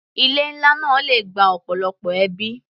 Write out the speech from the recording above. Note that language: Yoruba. Ilé nlá náà le gba ọ̀pọ̀lọpọ̀ ẹbí.